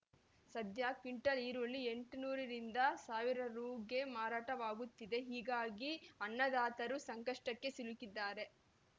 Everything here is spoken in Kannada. ಸದ್ಯ ಕ್ವಿಂಟಲ್‌ ಈರುಳ್ಳಿ ಎಂಟುನೂರರಿಂದ ಒಂದು ರು ಗೆ ಮಾರಾಟವಾಗುತ್ತಿದೆ ಹೀಗಾಗಿ ಅನ್ನದಾತರು ಸಂಕಷ್ಟಕ್ಕೆ ಸಿಲುಕಿದ್ದಾರೆ